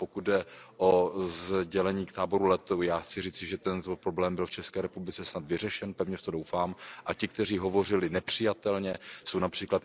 Pokud jde o sdělení k táboru Lety, já chci říci, že ten problém byl v ČR snad vyřešen, pevně v to doufám a ti, kteří hovořili nepřijatelně, jsou např.